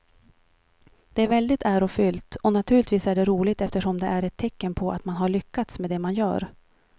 Det är väldigt ärofyllt och naturligtvis är det roligt eftersom det är ett tecken på att man har lyckats med det man gör.